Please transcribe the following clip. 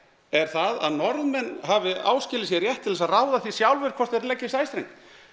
er það að Norðmenn hafi áskilið sér rétt til þess að ráða því sjálfir hvort þeir leggi sæstreng